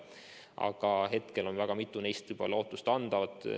Aga hetkel on juba väga mitu neist lootustandvad.